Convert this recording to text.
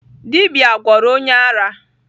Dibia gwọrọ onye ara.